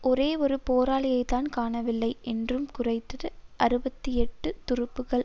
ஒரே ஒரு போராளியைத்தான் காணவில்லை என்றும் குறைந்தது அறுபத்தி எட்டு துருப்புக்கள்